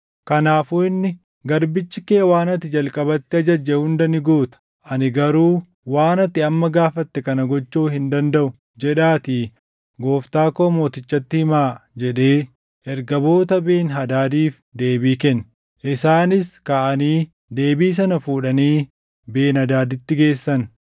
Kanaafuu inni, “ ‘Garbichi kee waan ati jalqabatti ajajje hunda ni guuta; ani garuu waan ati amma gaafatte kana gochuu hin dandaʼu’ jedhaatii gooftaa koo mootichatti himaa” jedhee ergamoota Ben-Hadaadiif deebii kenne. Isaanis kaʼanii deebii sana fuudhanii Ben-Hadaaditti geessan.